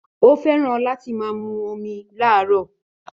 Ó fẹ́ràn láti máa mu omi láàárọ̀